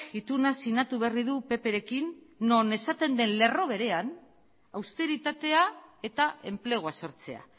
ituna sinatu berri du pprekin non esaten den lerro berean austeritatea eta enplegua sortzea